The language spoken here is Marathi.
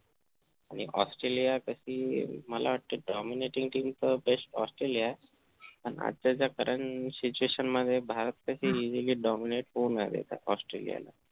आणि ऑस्ट्रेलिया कशी मला वाटत dominating team तर best ऑस्ट्रेलिया आहे आणि आजच्या ज्या current situation मध्ये भारत कशी easily dominet होऊ नये तर ऑस्ट्रेलियाला